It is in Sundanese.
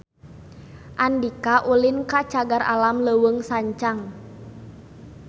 Andika ulin ka Cagar Alam Leuweung Sancang